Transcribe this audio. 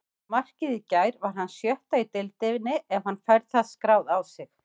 Markið í gær var hans sjötta í deildinni ef hann fær það skráð á sig.